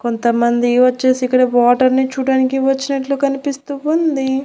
కొంతమంది వచ్చేసి ఇక్కడ వాటర్ ని చూడ్డానికి వచ్చినట్లు కనిపిస్తూ ఉంది.